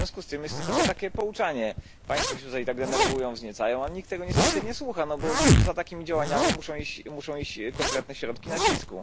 W związku z tym jest tylko takie pouczanie państwo się tutaj tak denerwują, wzniecają, a nikt tego niestety nie słucha, bo za takimi działaniami muszą iść konkretne środki nacisku.